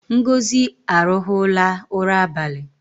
Ngozi arụhụla ụra abali